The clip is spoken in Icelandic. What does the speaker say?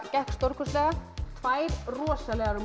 gekk stórkostlega tvær rosalegar